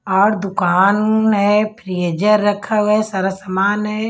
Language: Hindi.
और दुकान है फ्रीजर रखा हुआ है सारा सामान है।